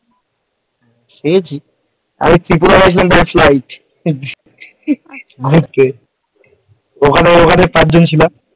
সে ঠিক ত্রিপুরা গেছিলাম ঘুরতে ওখানে ওখানে পাঁচ জন ছিলাম।